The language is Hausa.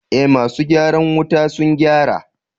eh masu gyaran wutan sun gyara.